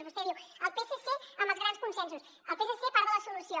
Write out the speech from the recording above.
vostè diu el psc amb els grans consensos el psc part de la solució